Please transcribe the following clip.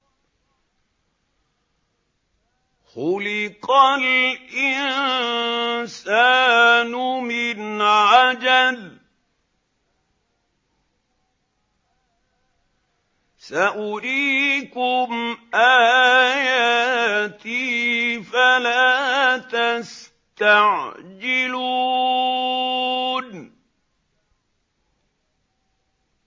خُلِقَ الْإِنسَانُ مِنْ عَجَلٍ ۚ سَأُرِيكُمْ آيَاتِي فَلَا تَسْتَعْجِلُونِ